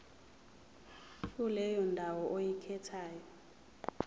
kuleyo ndawo oyikhethayo